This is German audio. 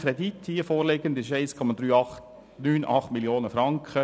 Der beantragte Kredit, der hier vorliegt, beträgt 1,389 Mio. Franken.